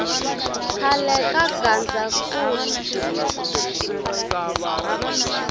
khale ka gazankulu